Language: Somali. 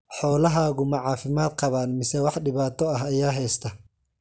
Xoolahaagu ma caafimaad qabaan mise wax dhibaato ah ayaa haysta?